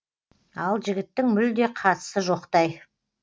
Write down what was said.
ал жігіттің мүлде қатысы жоқтай